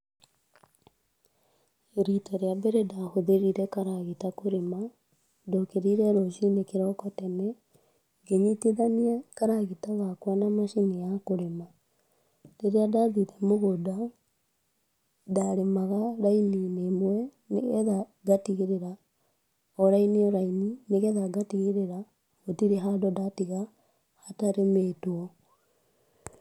Rita rĩa mbere ndahũthĩrire karagita kũrĩma, ndokĩrire rũcini tene, ngĩnyitithania karagita gakwa na macini ya kũrĩma , rĩrĩa ndathire mũgũnda ndarĩmaga raini-inĩ ĩmwe nĩgetha ngatigĩrĩra o raini o raini, nĩgetha ngatigĩrĩra gũtirĩ handũ ndatiga hatarĩmĩtwo.